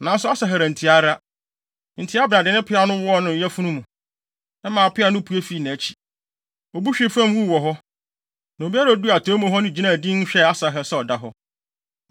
Nanso Asahel antie ara, enti Abner de ne peaw no wɔɔ ne yafunu mu, maa peaw no pue fii nʼakyi. Obu hwee fam wuu wɔ hɔ. Na obiara a oduu atɔe mu hɔ no gyinaa dinn hwɛɛ Asahel sɛ ɔda hɔ.